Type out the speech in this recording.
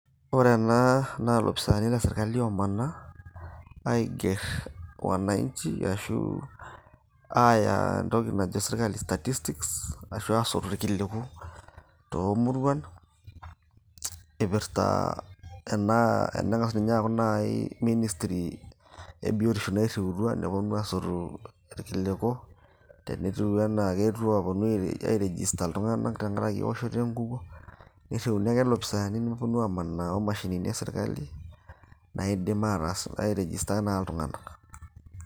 Ore ena naa ilopisaani le sirkali omanaa aigerr wananchi ashu aaya entoki najo sirkali statistics ashu aasotu irkiliku toomuruan ipirrta ena, eneng'as ninye aaku naaji ministry e biotisho nairriutua neponu aasotu irkiliku tenetiu anaa keetuo apuo ae register iltung'anak tenkarake ewoshoto enkukuo nirriuni ake ilopisaani neponu amanaa omashinini e sirkali naidim ataas ,ae register naa iltung'anak.